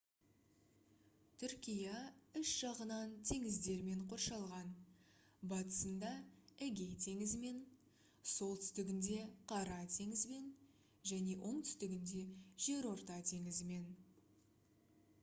түркия үш жағынан теңіздермен қоршалған батысында эгей теңізімен солтүстігінде қара теңізбен және оңтүстігінде жерорта теңізімен